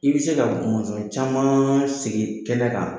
I bi se ka mɔnzɔn caman sigi kɛlɛ kan